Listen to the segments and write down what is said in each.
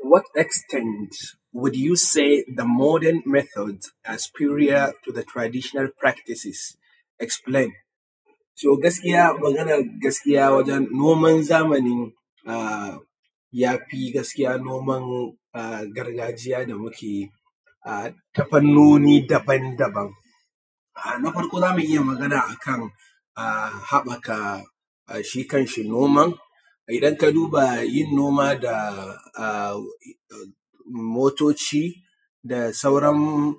To what extend will you said the modern method are superior to the traditional practices? Explain. To gaskiya maganan gaskiya wajan noman zamani ya fi gaskiya noman gargajiya da muke yi ta fanoni daban daban. Na farko za mu iya magana akan haɓɓaka shi kan shi noman, idan ka duba yin noma da motoci da sauran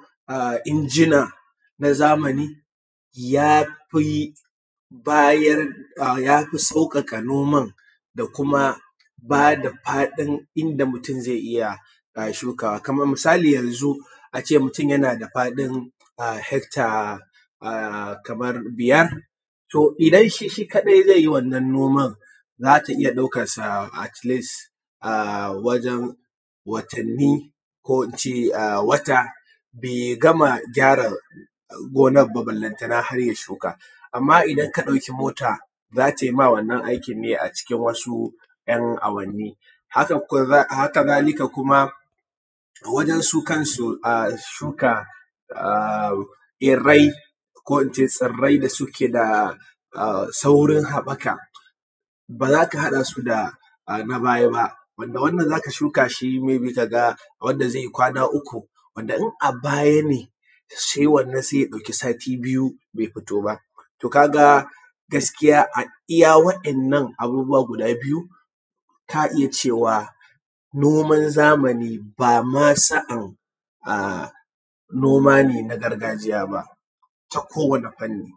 injina na zamani ya fi sauƙaƙa noman da kuma ba da faɗin inda mutun zai iya shukawa. Kamar misali yanzu a ce mutun yana da faɗin hekta kamar biyar, to idan shi shi kaɗai zai yi wannan noman, za ta iya ɗaukansa atleast a wajan watanni ko in ce wata bai gama gyara gonan ba balantana har ya shuka. Amma idan ka ɗauka mota za tai ma wannan aikin ne a cikin wasu ‘yan awanni, haka zalika kuma wajan su kansu shuka tsirai da suke da saurin haɓaka ba zaka haɗa su da na baya ba, wanda wannan zaka shuka shi may be ka ga kwana uku, wanda in a baya ne sai wannan sai ya ɗauki sati biyu bai fito ba. To ka ga gaskiya a iya wa'innan abubuwa guda biyu ka iya cewa noman zamani ba ma sa'an noma ne na gargajiya ba ta kowane fanni.